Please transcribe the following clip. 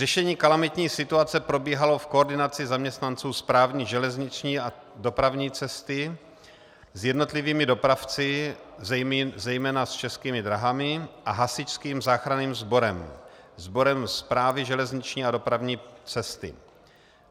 Řešení kalamitní situace probíhalo v koordinaci zaměstnanců Správy železniční a dopravní cesty s jednotlivými dopravci, zejména s Českými dráhami a Hasičským záchranným sborem, sborem Správy železniční a dopravní cesty.